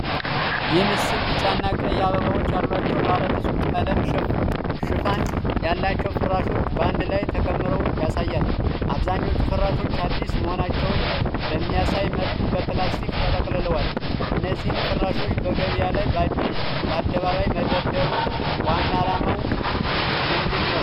ይህ ምስል ቢጫና ቀይ አበባዎች ያሏቸው ባለብዙ ቀለም ሽፋን ያላቸው ፍራሾች በአንድ ላይ ተከምረው ያሳያል። አብዛኞቹ ፍራሾች አዲስ መሆናቸውን በሚያሳይ መልኩ በፕላስቲክ ተጠቅልለዋል። እነዚህን ፍራሾች በገበያ ላይ በአደባባይ መደርደሩ ዋና ዓላማው ምንድን ነው?